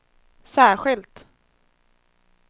särskilt